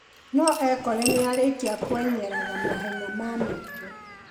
No ekore nĩarĩkĩria kwenyeraga mahenya ma maingĩ.